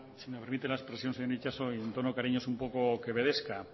si me permite la expresión señor itxaso en tono cariñoso un poco quevedesca